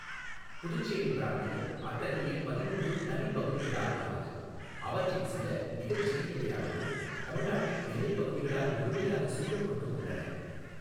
புதுச்சேரி பிராந்தியம் அத்தகைய பதினொன்று தனிப் பகுதிகளால் ஆனது, அவற்றில் சில மிகச் சிறியவையாகவும் தமிழ் நாட்டின் எல்லைப் பகுதிகளால் முழுமையாக சூழப்பட்டும் உள்ளன.